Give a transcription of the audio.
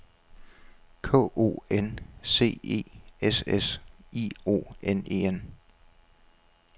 K O N C E S S I O N E N